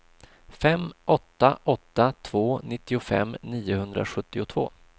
fem åtta åtta två nittiofem niohundrasjuttiotvå